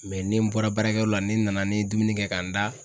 ni n bɔra baarakɛyɔrɔ la ne nana ne ye dumuni kɛ ka n da.